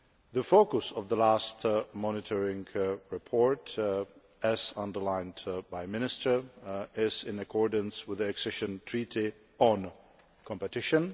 The focus of the last monitoring report, as underlined by the minister, is in accordance with the accession treaty on competition